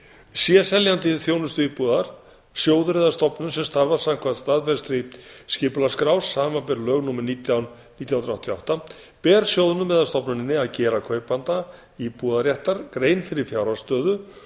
sé seljandi þjónustuíbúðar sjóður eða stofnun sem starfar samkvæmt staðfestri skipulagsskrá samanber lög númer nítján nítján hundruð áttatíu og átta ber sjóðnum eða stofnuninni að gera kaupanda íbúðarréttar grein fyrir fjárhagsstöðu